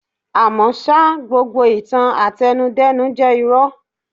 À mọ́ ṣá, gbogbo ìtàn àtẹnu-dẹ́nu jẹ́ irọ́.